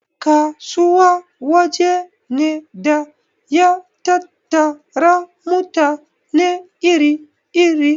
Kasuwa waje ne da ya tattara mutane iri iri